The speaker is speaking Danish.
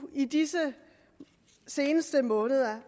i disse seneste måneder